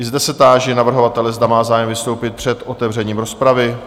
I zde se táži navrhovatele, zda má zájem vystoupit před otevřením rozpravy?